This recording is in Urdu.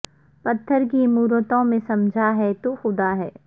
پتھر کی مورتوں میں سمجھا ہے تو خدا ہے